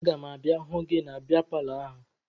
Aga m abịa hụ gị na bịa palọ ahụ